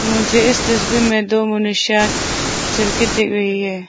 मुझे इस तस्वीर में दो मनुष्य चल के दिख रही है।